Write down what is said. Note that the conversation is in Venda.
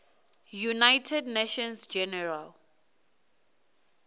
united nations general